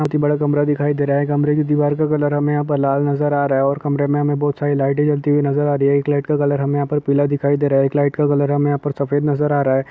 बड़ा कमरा दिखाई दे रहा हैं कमरे की दीवार का कलर हमे यहाँ पर लाल नजर आ रहा है और कमरे में हमें बहुत सारी लाइटें जलती हुई नजर आ रही हैं एक लाइट कलर हमे यहाँ पर पीला दिखाई दे रहा हैं एक लाइट का कलर हमे यहाँ पर सफेद नजर आ रहा हैं।